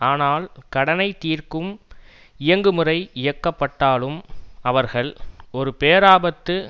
ஆனால் கடனை தீர்க்கும் இயங்குமுறை இயக்கப்பட்டாலும் அவர்கள் ஒரு பேராபத்து